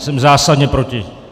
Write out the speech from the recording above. Jsem zásadně proti.